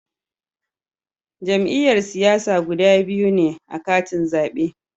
Jam'iyyar siyasa guda biyu ne a katin zabe